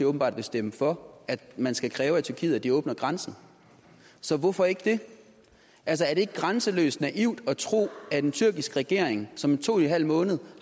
åbenbart vil stemme for at man skal kræve af tyrkiet at de åbner grænsen så hvorfor ikke det altså er det ikke grænseløst naivt at tro at en tyrkisk regering som i to en halv måned